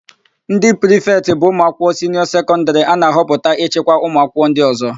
Ndị prịfetị bụ ụmụakwụkwọ siniọ sekọndịrị a na-ahọpụta ịchịkwa ụmụakwụkwọ ndị ọ̀zọ́.